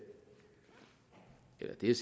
er